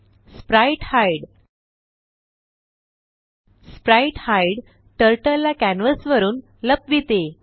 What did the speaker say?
sprite hide sprite hide turtle ला canvas वरुन लपविते